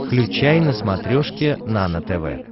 включай на смотрешке нано тв